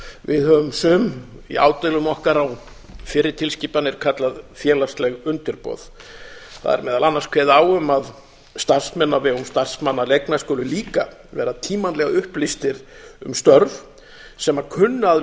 við höfum sum í ádeilum okkar á fyrri tilskipanir kallað félagsleg undirboð það er meðal annars kveðið á um að starfsmenn á vegum starfsmannaleigna skuli líka vera tímanlega upplýstir um störf sem kunna að